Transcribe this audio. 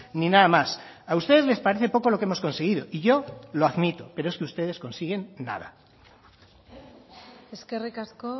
ni nada más a ustedes les parece poco lo que hemos conseguido y yo lo admito pero es que ustedes consiguen nada eskerrik asko